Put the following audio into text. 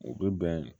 U bɛ bɛn